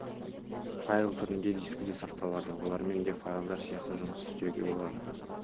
файл түрінде дискіде сақталады олармен де файлдар сияқты жұмыс істеуге болады